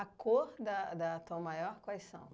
A cor da da Tom Maior, quais são?